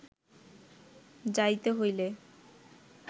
যাইতে হইলে